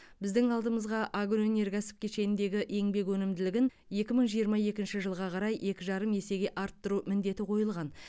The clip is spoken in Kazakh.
біздің алдымызға агроөнеркәсіп кешеніндегі еңбек өнімділігін екі мың жиырма екінші жылға қарай екі жарым есеге арттыру міндеті қойылған